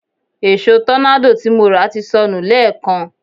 Èṣo tọ́nádò tí mo rà ti sọnù lẹ́èkan